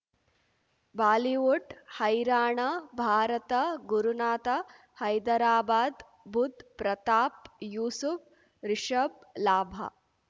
Bollywood ಹೈರಾಣ ಭಾರತ ಗುರುನಾಥ ಹೈದರಾಬಾದ್ ಬುಧ್ ಪ್ರತಾಪ್ ಯೂಸುಫ್ ರಿಷಬ್ ಲಾಭ